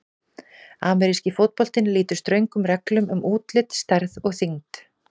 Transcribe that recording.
Ameríski fótboltinn lýtur ströngum reglum um útlit, stærð og þyngd.